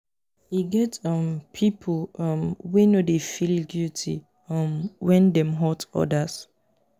e get um pipu um wey no dey feel guity um wen dem hurt odas.